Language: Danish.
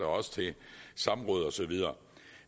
også i samråd og så videre